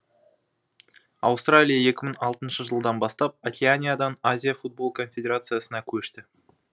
аустралия екі мың алтыншы жылдан бастап океаниядан азия футбол конфедерациясына көшті